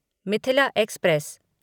Mithila express